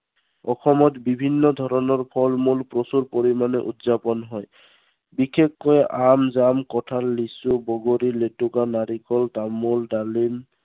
অসমত বিভিন্ন ধৰনৰ ফল-মূল প্ৰচুৰ পৰিমানে উদযাপন হয়। বিশেষকৈ আম, জাম, কঁঠাল, লিচু, বগৰী, লেতেকু, নাৰিকল, তামোল, ডালিম